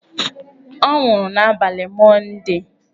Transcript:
Ọ nwụrụ n'abalị Mọndee.